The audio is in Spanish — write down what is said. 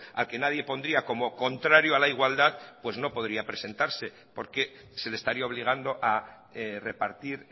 al que nadie pondría como contrario a la igualdad no podría presentarse porque se les estaría obligando a repartir